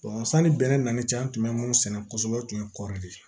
sanni bɛnɛ nana ni cɛn an tun bɛ minnu sɛnɛ kosɛbɛ o tun ye kɔri de ye